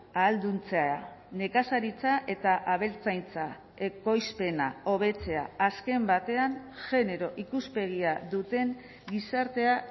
ahalduntzea nekazaritza eta abeltzaintza ekoizpena hobetzea azken batean genero ikuspegia duten gizartea